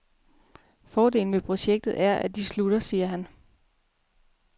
Fordelen ved projekter er, at de slutter, siger han.